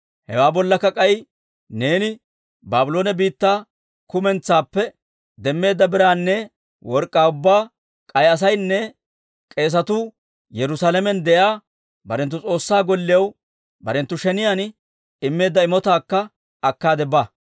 Hewaa bollakka k'ay neeni Baabloone biittaa kumentsaappe demmeedda biraanne work'k'aa ubbaa, k'ay asaynne k'eesatuu Yerusaalamen de'iyaa barenttu S'oossaa Golliyaw barenttu sheniyaan immeedda imotaakka akkaade ba.